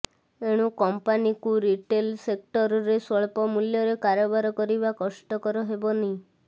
ଏଣୁ କମ୍ପାନୀକୁ ରିଟେଲ ସେକ୍ଟରରେ ସ୍ୱଳ୍ପମୂଲ୍ୟରେ କାରବାର କରିବା କଷ୍ଟକର ହେବନି